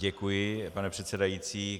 Děkuji, pane předsedající.